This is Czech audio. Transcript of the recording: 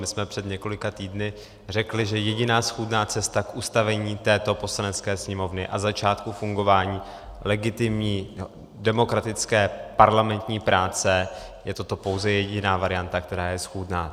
My jsme před několika týdny řekli, že jediná schůdná cesta k ustavení této Poslanecké sněmovny a začátku fungování legitimní demokratické parlamentní práce je toto pouze jediná varianta, která je schůdná.